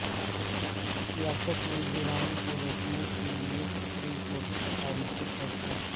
سیاست میں جرائم کو روکنے کے لیے سپریم کورٹ کا تاریخی فیصلہ